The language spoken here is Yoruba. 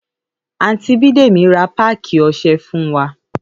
Àńtì bidemi rà pàkí ọsé fun wà